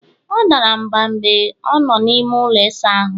ọ dara mgba mgbe ọ nọ n'ime ụlọ ịsa ahụ